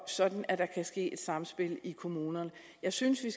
sådan at der kan ske et samspil i kommunerne jeg synes at